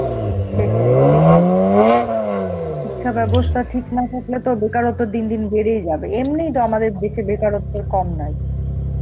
সেটাই সেটাই. শিক্ষাব্যবস্থা ঠিক না থাকলে তো বেকারতা দিন দিন বেড়েই যাবে, এমনি তো আমাদের দেশে বেকারত্বের কম নাই.